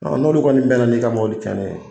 Ɔ n'olu kɔni bɛn na n'i ka mɔbɔli cɛnnen ye.